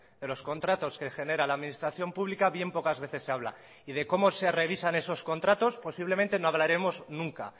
de los contratos que genera la administración pública bien pocas veces se habla y de cómo se revisan esos contratos posiblemente no hablaremos nunca